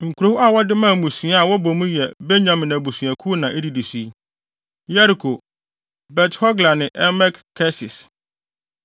Nkurow a wɔde maa mmusua a wɔbɔ mu yɛ Benyamin abusuakuw na edidi so yi: Yeriko, Bet-Hogla ne Emek-Kesis,